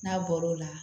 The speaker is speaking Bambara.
N'a bɔr'o la